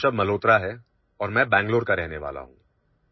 नमस्कार मेरा नाम ऋषभ मल्होत्रा है और मैं बेंगलुरु का रहनेवाला हूं